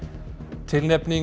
tilnefning